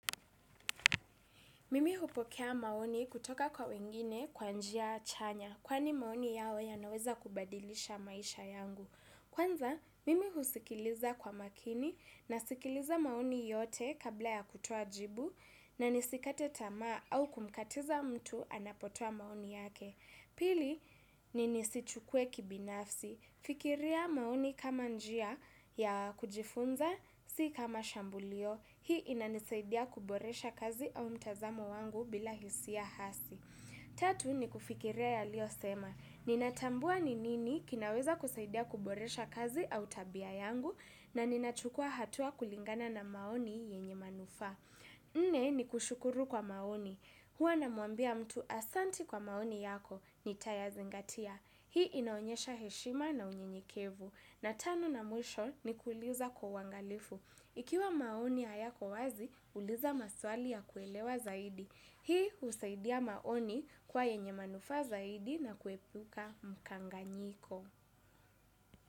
Mimi hupokea maoni kutoka kwa wengine kwa njia chanya kwani maoni yao yanaweza kubadilisha maisha yangu. Kwanza, mimi husikiliza kwa makini nasikiliza maoni yote kabla ya kutoa jibu na nisikate tamaa au kumkatiza mtu anapotoa maoni yake. Pili, ni nisichukuwe kibinafsi. Fikiria maoni kama njia ya kujifunza, si kama shambulio. Hii inanisaidia kuboresha kazi au mtazamo wangu bila hisia hasi. Tatu, nikufikiria yaliyosema. Ninatambua ni nini kinaweza kusaidia kuboresha kazi au tabia yangu na ninachukua hatua kulingana na maoni yenye manufaa. Nne ni kushukuru kwa maoni, huwa namwambia mtu asante kwa maoni yako, nitayazingatia, hii inaonyesha heshima na unyenyekevu, na tano na mwisho ni kuuliza kwa uangalifu, ikiwa maoni hayako wazi, uliza maswali ya kuelewa zaidi, hii husaidia maoni kuwa yenye manufaa zaidi na kuepuka mkanganyiko.